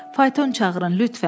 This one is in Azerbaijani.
Fayton çağırın, lütfən.